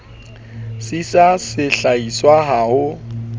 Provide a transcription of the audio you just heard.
sisa se hlahiswang ha ho